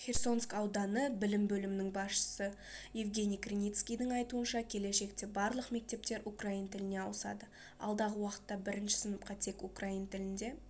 херсонск ауданы білім бөлімінің басшысы евгений криницкийдің айтуынша келешекте барлық мектептер украин тіліне ауысады алдағы уақытта бірінші сыныпқа тек украин тілінде